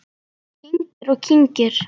Kyngir og kyngir.